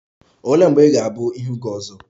Olee mgbe ị ga-abụ ihu gị ọzọ?